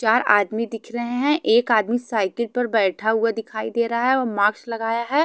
चार आदमी दिख रहें हैं एक आदमी साइकिल पर बैठा हुआ दिखाई दे रहा हैं और माक्स लगाया हैं।